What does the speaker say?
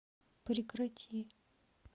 прекрати